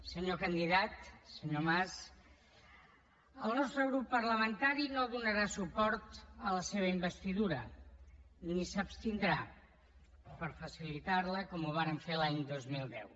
senyor candidat senyor mas el nostre grup parlamentari no donarà suport a la seva investidura ni s’abstindrà per facilitarla com ho vàrem fer l’any dos mil deu